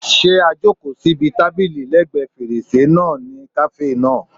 Ṣé a jòkó síbi tábìlì lẹ́ẹ̀gbẹ́ fèrèsé náà ní kàáfè náà?